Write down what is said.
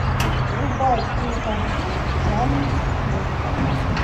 врубай кинокартину жанр вестерн